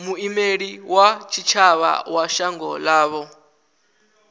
muimeli wa tshitshavha wa shango ḽavho